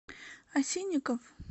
осинников